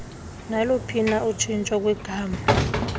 naluphina utshintsho kwigama